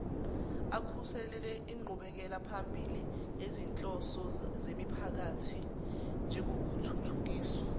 akhuseleinqubekelaphambili yezinhloso zemiphakathinjengokuthuthukiswa